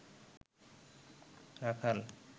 রাখাল